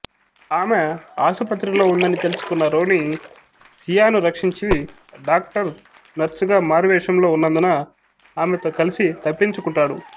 ఆమె ఆసుపత్రిలో ఉందని తెలుసుకున్న రోనీ సియాను రక్షించి డాక్టర్ నర్సుగా మారువేషంలో ఉన్నందున ఆమెతో కలిసి తప్పించుకుంటాడు